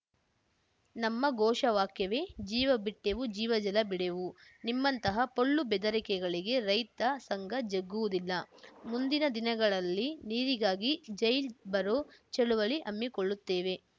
ನಮ್ಮ ಘೋಷವಾಕ್ಯವೇ ಜೀವ ಬಿಟ್ಟೇವು ಜೀವಜಲ ಬಿಡೆವು ನಿಮ್ಮಂತಹ ಪೊಳ್ಳು ಬೆದರಿಕೆಗಳಿಗೆ ರೈತ ಸಂಘ ಜಗ್ಗುವುದಿಲ್ಲ ಮುಂದಿನ ದಿನಗಳಲ್ಲಿ ನೀರಿಗಾಗಿ ಜೈಲ್ ಭರೋ ಚಳುವಳಿ ಹಮ್ಮಿಕೊಳ್ಳುತ್ತೇವೆ